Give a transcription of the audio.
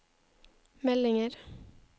meldinger